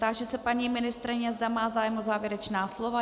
Táži se paní ministryně, zda má zájem o závěrečné slovo.